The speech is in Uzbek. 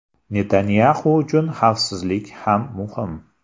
Netanyaxu uchun xavfsizlik ham muhim.